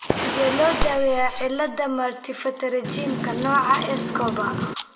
Sidee loo daaweeyaa cillada Multipterygiumka, nooca Escobar?